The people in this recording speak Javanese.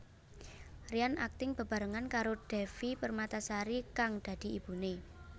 Ryan akting bebarengan karo Devi Permatasari kang dadi ibune